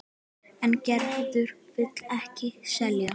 En Gerður vill ekki selja.